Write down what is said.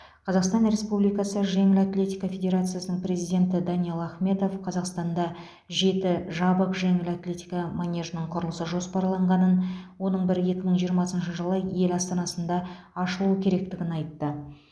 қазақстан республикасы жеңіл атлетика федерациясының президенті даниал ахметов қазақстанда жеті жабық жеңіл атлетика манежінің құрылысы жоспарланғанын оның бірі екі мың жиырмасыншы жылы ел астанасында ашылуы керектігін айтты